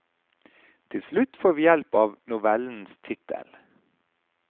Til slutt får vi hjelp av novellens tittel.